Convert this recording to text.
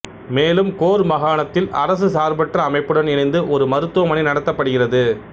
மேலும் கோர் மாகாணத்தில் அரசு சார்பற்ற அமைப்புடன் இணைந்து ஒரு மருத்துவமனை நடத்தப்படுகிறது